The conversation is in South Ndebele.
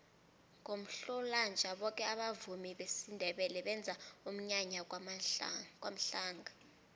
ngomhlolanja boke abavumi besindebele benza umnyanya kwamhlanga